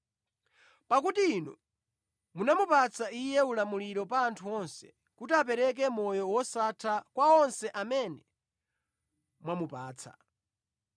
Pakuti Inu munamupatsa Iye ulamuliro pa anthu onse kuti apereke moyo wosatha kwa onse amene mwamupatsa.